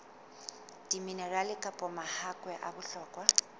diminerale kapa mahakwe a bohlokwa